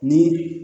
Ni